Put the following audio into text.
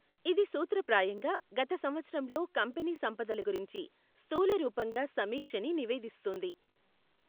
ఇది సూత్ర ప్రాయంగా గత సంవత్సరంలో కంపెనీ సంపదల గురించి స్థూలరూపంగా సమీక్షని నివేదిస్తుంది.